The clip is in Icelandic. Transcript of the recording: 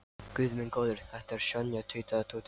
Guð minn góður, þetta er Sonja tautaði Tóti.